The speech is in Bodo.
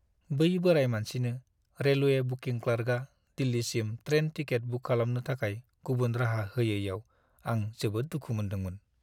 बै बोराय मानसिनो रेलवे बुकिं क्लार्कआ दिल्लीसिम ट्रेन टिकेट बुक खालामनो थाखाय गुबुन राहा होयैयाव आं जोबोद दुखु मोनदोंमोन।